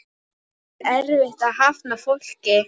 Er erfitt að hafna fólki?